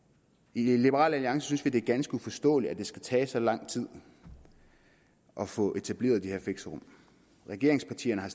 i liberal alliance synes vi det er ganske uforståeligt at det skal tage så lang tid at få etableret de her fixerum regeringspartierne har